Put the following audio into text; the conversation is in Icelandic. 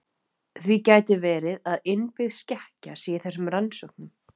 Því gæti verið að innbyggð skekkja sé í þessum rannsóknum.